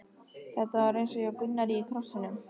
Þetta var einsog hjá Gunnari í Krossinum.